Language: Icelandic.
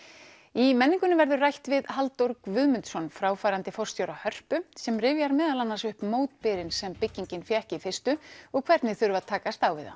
í menningunni verður rætt við Halldór Guðmundsson fráfarandi forstjóra Hörpu sem rifjar meðal annars upp mótbyrinn sem byggingin fékk í fyrstu og hvernig þurfti að takast á við það